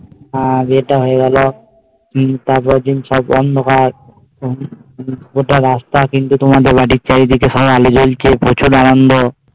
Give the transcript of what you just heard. আর যেটা হয় গেল কি আগের দিন সব অন্ধকার কোথাও রাস্তা চিনতে তোমাদের বাড়ির চারিদিকে সব আলো জ্বলছে প্রচুর আনন্দ